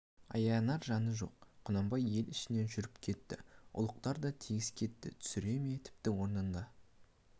аянар жаны жоқ құнанбай ел ішінен жүріп кетті ұлықтар да тегіс кетті түсіре ме тіпті орнында